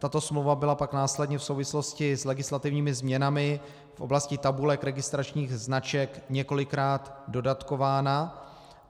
Tato smlouva byla pak následně v souvislosti s legislativními změnami v oblasti tabulek registračních značek několikrát dodatkována.